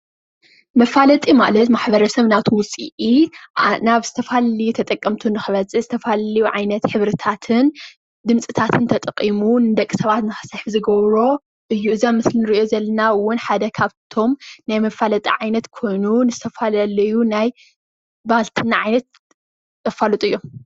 መፋለጢ ማለት ማሕበረሰብ ናቱ ውፅኢት ናብ ዝተፈላለየ ተጠቀምቲ ንኽበፅሕ ዝተፈላለዩ ዓይነት ሕብርታትን ድምፅታትን ተጠቒሙ ንደቂ ሰባት ንኽስሕብ ዝገብሮ እዩ፡፡ እዚ ኣብ ምስሊ ነሪኦ ዘለና ውን ሓደ ካብቶም ናይ መፋለጢ ዓይነት ኮይኑ ንዝተፈላለዩ ናይ ባልትና ዓይነት ዘፋልጡ እዮም፡፡